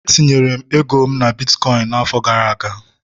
etinyere m ego na bitkọịn n'afọ gara aga